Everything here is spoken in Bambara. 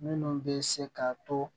Minnu bɛ se ka to